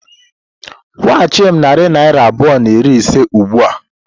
Kwụghachi m narị naira abụọ na iri ise ugbu a!